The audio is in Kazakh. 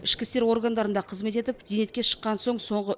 ішкі істер органдарында қызмет етіп зейнетке шыққан соң соңғы